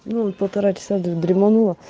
ну полтора часа